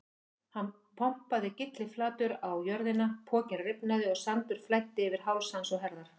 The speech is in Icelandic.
Hann pompaði kylliflatur á jörðina, pokinn rifnaði og sandur flæddi yfir háls hans og herðar.